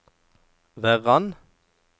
Verran